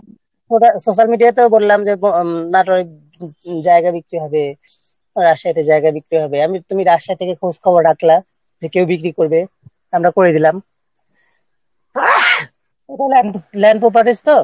Social Media-তেও বললাম যে না হয় একটা জায়গা বিক্রি হবে চার পাঁচটা জায়গা বিক্রি হবে তুমি থেকে খোঁজ খবর রাখলা যে কেউ বিক্রি করবে আমরা করে দিলাম Sneezing Land Land Properties তো